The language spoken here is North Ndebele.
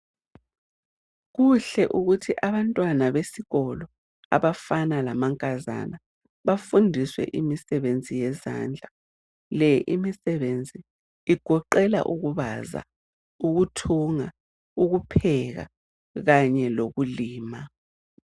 Kuhle ukuthi abantwana besikolo abafana lamankazana bafundiswe imisebenzi yezandla le imisebenzi igoqela ukubaza ukuthunga ukupheka Kanye lokulima.